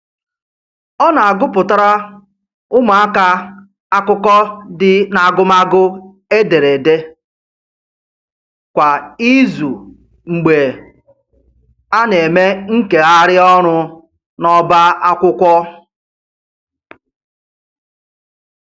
Ọ na-agụpụtara ụmụaka akụkọ dị n'agụmagụ ederede kwa izu mgbe a na-eme nkegharị ọrụ n'ọba akwụkwọ